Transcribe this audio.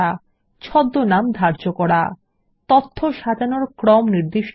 এবং ছদ্মনাম ধার্য করা সাজানোর ক্রম নির্দিষ্ট করা